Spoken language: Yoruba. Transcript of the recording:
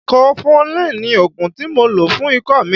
Kọfulin ni ògùn tí mo lò fún ikọ́ mi.